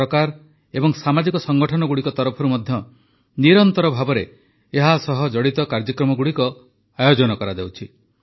ସରକାର ଏବଂ ସାମାଜିକ ସଂଗଠନଗୁଡ଼ିକ ତରଫରୁ ମଧ୍ୟ ନିରନ୍ତର ଭାବେ ଏହା ସହ ଜଡ଼ିତ କାର୍ଯ୍ୟକ୍ରମଗୁଡ଼ିକ ଆୟୋଜନ କରାଯାଉଛି